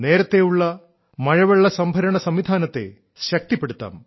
നേരത്തെയുള്ള മഴവെള്ള സംഭരണ സംവിധാനത്തെ ശക്തിപ്പെടുത്താം